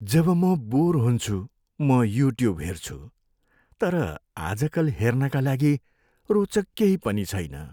जब म बोर हुन्छु, म युट्युब हेर्छु। तर आजकल हेर्नका लागि रोचक केही पनि छैन।